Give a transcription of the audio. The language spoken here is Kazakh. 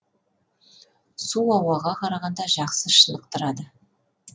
су ауаға қарағанда жақсы шынықтырады